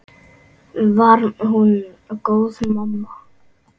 Var hún góð mamma?